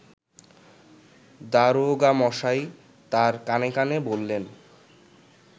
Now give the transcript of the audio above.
দারোগামশাই তাঁর কানে কানে বললেন